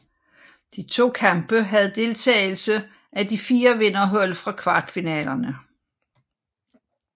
De to kampe havde deltagelse af de fire vinderhold fra kvartfinalerne